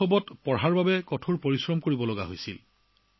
সৰুৰে পৰা পঢ়াশুনা কৰিবলৈ কঠোৰ পৰিশ্ৰম কৰিবলগীয়া হয়